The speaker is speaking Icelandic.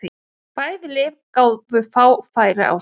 Bæði lið gáfu fá færi á sér.